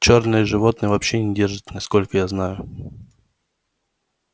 чёрные животные вообще не держат насколько я знаю